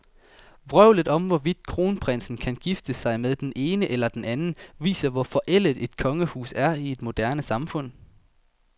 Vrøvlet om, hvorvidt kronprinsen kan gifte sig med den ene eller den anden, viser, hvor forældet et kongehus er i et moderne samfund.